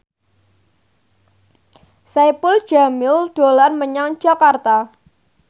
Saipul Jamil dolan menyang Jakarta